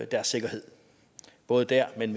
deres sikkerhed både der men